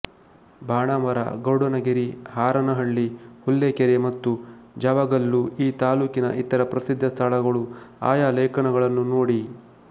ಬಾಣಾವರ ಗರುಡನಗಿರಿ ಹಾರನಹಳ್ಳಿ ಹುಲ್ಲೆಕೆರೆ ಮತ್ತು ಜಾವಗಲ್ಲು ಈ ತಾಲ್ಲೂಕಿನ ಇತರ ಪ್ರಸಿದ್ಧ ಸ್ಥಳಗಳು ಆಯಾ ಲೇಖನಗಳನ್ನು ನೋಡಿ